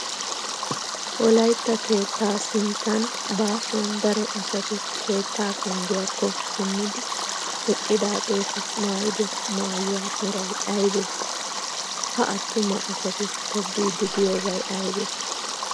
Wolayitta keettaa sinttan baasuwan daro asati keettaa penggiyaakko simmidi eqqidaageeti mayyido mayyuwa meray ayibee? Ha attuma asati tobbiiddi diyoobay ayibee?